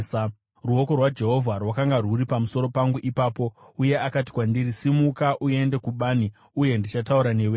Ruoko rwaJehovha rwakanga rwuri pamusoro pangu ipapo, uye akati kwandiri, “Simuka uende kubani uye ndichataura newe ikoko.”